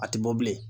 A tɛ bɔ bilen